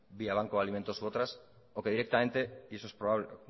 vía banco de alimentos u otras o que directamente y eso es